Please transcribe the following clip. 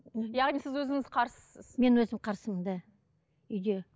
яғни сіз өзіңіз қарсысыз мен өзім қарсымын да үйде